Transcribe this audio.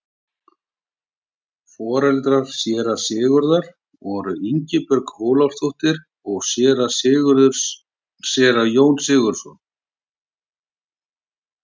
foreldrar séra sigurðar voru ingibjörg ólafsdóttir og séra jón sigurðsson